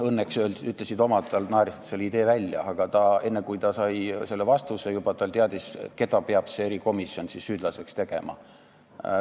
Õnneks naersid omad selle idee välja, aga enne kui ta sai vastuse, ta juba teadis, keda peab see erikomisjon süüdlaseks tegema.